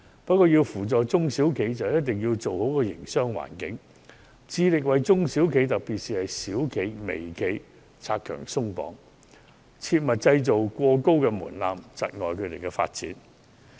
不過，要扶助中小企便必須營造好營商環境，致力為中小企拆牆鬆綁，切勿設立過高的門檻，窒礙他們的發展。